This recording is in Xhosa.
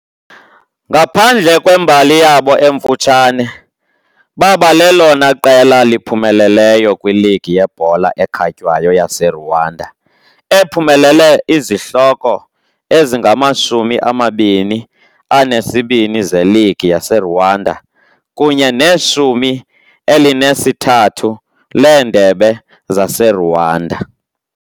Ngaphandle kwembali yabo emfutshane, baba lelona qela liphumeleleyo kwiligi yebhola ekhatywayo yaseRwanda ephumelele izihloko ezingamashumi amabini anesibini zeligi yaseRwanda kunye neshumi elinesithathu leendebe zaseRwanda.